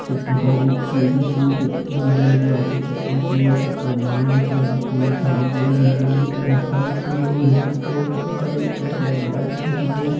कित्ती सारी सूजी सूजी मिल जाएंगी आपको चप्पल चाहिए चप्पल मिल जाएगी शर्ट चाहिए शर्ट भी मिल जाएगी और टाइल्स लगे हैं मस्त और पंखा देख रहे हो लाइट भी लगे हैं मस्त।